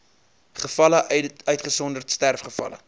gevalle uitgesonderd sterfgevalle